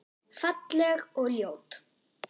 Falleg og ljót.